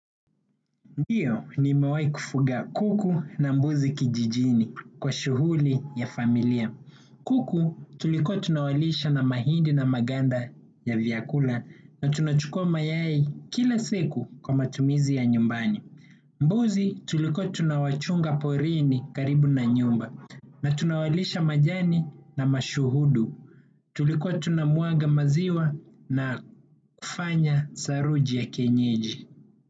Ndiyo nimewai kufuga kuku na mbuzi kijijini kwa shughuli ya familia. Kuku tulikua tunawalisha na mahindi na maganda ya vyakula na tunachukua mayai kila seku kwa matumizi ya nyumbani. Mbuzi tuliko tunawachunga porini karibu na nyumba na tunawalisha majani na mashuhudu. Tulikua tunamwaga maziwa na kufanya saruji ya kienyeji.